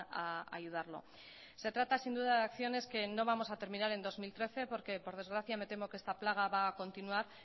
a ayudarlo se trata sin duda de acciones que no vamos a terminar en dos mil trece porque por desgracia me temo que esta plaga va a continuar